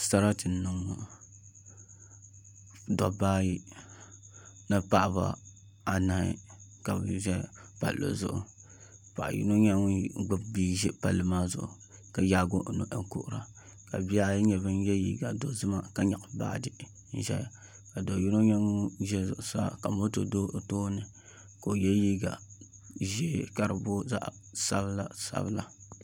Sarati n niŋ ŋo dabba ayi ni paɣaba anahi ka bi ʒɛ palli zuɣu paɣa yino nyɛla ŋun gbubi bia ʒi palli maa zuɣu ka yaagi o noli kuhura ka bihi ayi nyɛ bin yɛ liiga dozima ka nyaɣa baaji n ʒɛya ka do yino nyɛ ŋun ʒɛ zuɣusaa ka moto do o tooni ka o yɛ liiga ʒiɛ ka di booi zaɣ sabila sabila